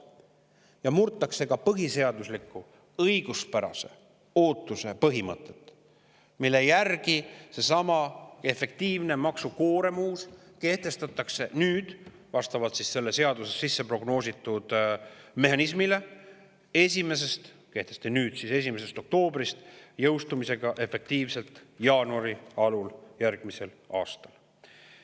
Ja murti ka põhiseadusliku õiguspärase ootuse põhimõtet, sest seesama uus efektiivne maksukoorem kehtestati nüüd 1. oktoobrist vastavalt sellele seadusesse sisse mehhanismile ja jõustub efektiivselt jaanuari alul järgmisel aastal.